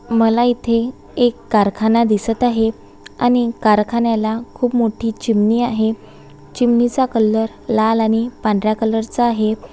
मला इथे एक कारखाना दिसत आहे आणि कारखान्याला खूप मोठ्ठी चिमणी आहे चिमणीचा कलर लाल आणि पांढरा कलरचा आहे.